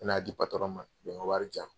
Me n'a di patɔrɔn ma, o ka wari jan.